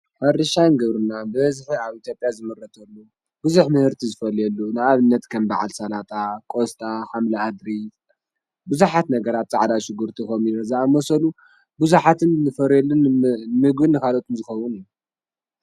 ሕርሻን ግብርና ብበዝሒ ኣብ ኢትዮጲያ ብዝሕ ምህርቲ ዘፈልየሉ በዓል ስላጣ፣ ቁስጣ ሓምሊ ኣድሪ ብዙሓት ነገራት ፃዕዳ ሽጉርት ዝኣምሰሉ ብዙሓት ዝፈርየሉ ንምግብን ንካልኦት ዝኸዉን እዩ።